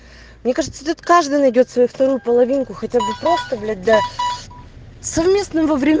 мне кажется тут каждый найдёт свою вторую половинку хотя бы просто блять да совместно во врём